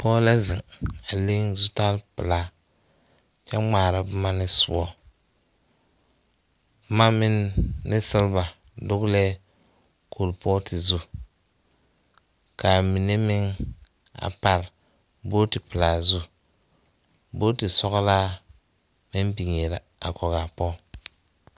Pͻge la zeŋe, a leŋ zutare pelaa kyԑ ŋmaara boma ne sõͻ, boma meŋ ne seleba dogelԑԑ kuripootu zu. Kaa mine meŋ a pare bootipelaa zu, booti sͻgelaa meŋ biŋee la a kͻge a pͻge.